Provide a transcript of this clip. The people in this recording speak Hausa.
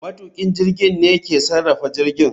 Matukin jirgin ne ke sarrafa jirgin